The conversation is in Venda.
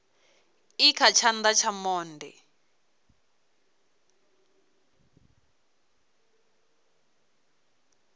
i kha tshana tsha monde